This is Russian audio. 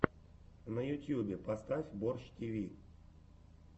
на ютьюбе поставь борщ тиви